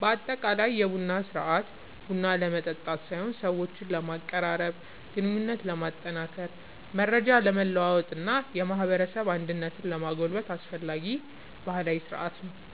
በአጠቃላይ የቡና ሥርዓት ቡና ለመጠጣት ሳይሆን ሰዎችን ለማቀራረብ፣ ግንኙነትን ለማጠናከር፣ መረጃ ለመለዋወጥ እና የማህበረሰብ አንድነትን ለማጎልበት አስፈላጊ ባህላዊ ሥርዓት ነው።